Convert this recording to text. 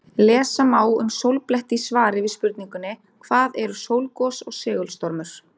Lesa má um sólbletti í svari við spurningunni Hvað eru sólgos og segulstormur?